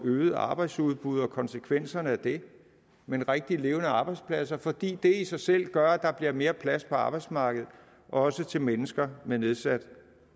øget arbejdsudbud og konsekvenserne af det men rigtige levende arbejdspladser fordi det i sig selv gør at der bliver mere plads på arbejdsmarkedet også til mennesker med nedsat